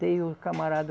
Tem o camarada...